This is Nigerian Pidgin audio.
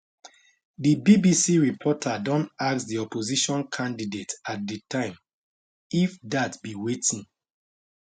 di bbc reporter don ask di opposition candidate at di time if dat be wetin